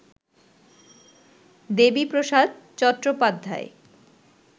Debiprasad Chattopadhyay